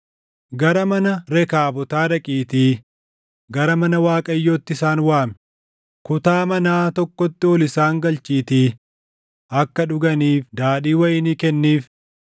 “Gara mana Rekaabotaa dhaqiitii gara mana Waaqayyootti isaan waami; kutaa manaa tokkotti ol isaan galchiitii akka dhuganiif daadhii wayinii kenniif.”